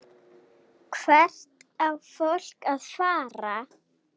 Hvert á fólk að fara?